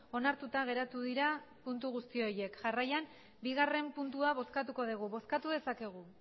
onartuta geratu dira puntu guzti horiek jarraian bigarren puntua bozkatuko dugu bozkatu dezakegu